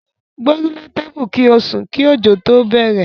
Gbórílé tébù kí ó sùn kí ọ̀jọ̀ tó bẹ̀rẹ̀.